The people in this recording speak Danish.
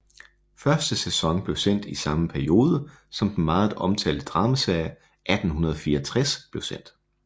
Første sæson blev sendt i samme periode som den meget omtalte dramaserie 1864 blev sendt